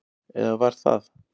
Eða var það?